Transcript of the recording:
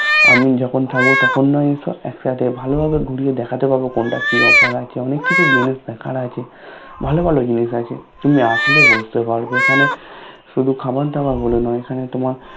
আমি যখন থাকবো তখন না হয় এসো একসাথে ভালো ভাবে ঘুরিয়ে দেখাতে পারবো কোনটায় কি অফার আছে অনেক কিছু জিনিস দেখার আছে ভালো ভালো জিনিস আছে তুমি আসলে বুঝতে পারবে এখানে শুধু খাবার দাবার বলে নয় এখানে তোমার